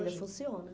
hoje? Ainda funciona.